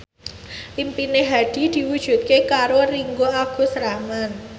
impine Hadi diwujudke karo Ringgo Agus Rahman